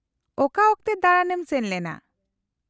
-ᱚᱠᱟ ᱚᱠᱛᱮ ᱫᱟᱬᱟᱱ ᱮᱢ ᱥᱮᱱ ᱞᱮᱱᱟ ?